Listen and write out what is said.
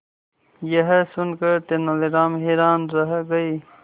यह सुनकर तेनालीराम हैरान रह गए